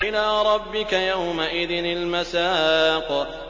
إِلَىٰ رَبِّكَ يَوْمَئِذٍ الْمَسَاقُ